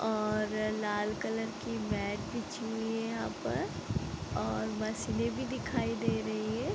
और लाल कलर की मेट बिछी हुई है यहाँ पर और बस ये भी दिखाई दे रही है।